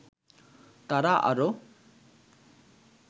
তারা আরও